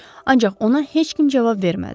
Ancaq ona heç kim cavab vermədi.